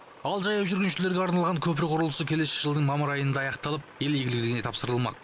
ал жаяу жүргіншілерге арналған көпір құрылысы келесі жылдың мамыр айында аяқталып ел игілігіне тапсырылмақ